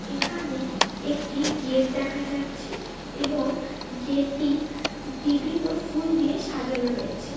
এখানে একটি গেট দেখা যাচ্ছে। এবং গেট -টি বিভিন্ন ফুল দিয়ে সাজানো রয়েছে।